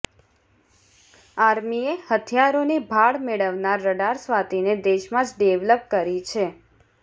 આર્મીએ હથિયારોની ભાળ મેળવનાર રડાર સ્વાતિને દેશમાં જ ડેવલપ કરી છે